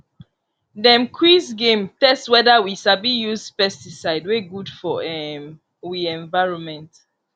dem quiz game test whether we sabi use pesticide wey good for um wi environment